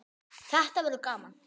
Þetta verður gaman